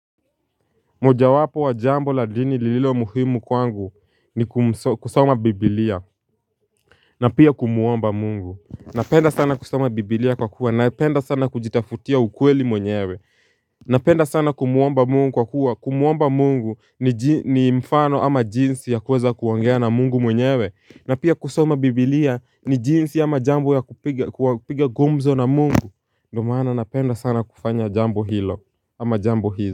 Moja wapo wa jambo la dini lililo muhimu kwangu ni kum kusoma biblia na pia kumuomba mungu Napenda sana kusoma biblia kwa kuwa na penda sana kujitafutia ukweli mwenyewe Napenda sana kumuomba mungu kwa kuwa kumuomba mungu ni ji ni mfano ama jinsi ya kuweza kuongea na mungu mwenyewe na pia kusoma biblia ni jinsi ama jambo ya kupiga gumzo na mungu ndio maana napenda sana kufanya jambo hilo ama jambo hi.